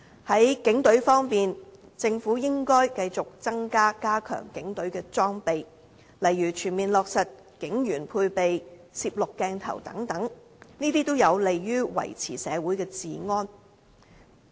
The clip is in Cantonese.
在警隊方面，政府應要繼續加強警隊的裝備，例如全面落實警員配備攝錄鏡頭等，這些也有利於維持社會治安。